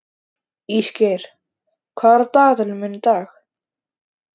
Ísgeir, hvað er á dagatalinu mínu í dag?